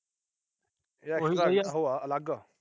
ਉਹ ਏ ਅਲੱਗ।